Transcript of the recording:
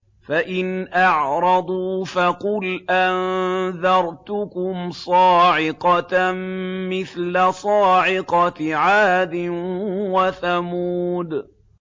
فَإِنْ أَعْرَضُوا فَقُلْ أَنذَرْتُكُمْ صَاعِقَةً مِّثْلَ صَاعِقَةِ عَادٍ وَثَمُودَ